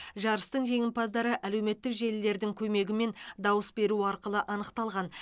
жарыстың жеңімпаздары әлеуметтік желілердің көмегімен дауыс беру арқылы анықталған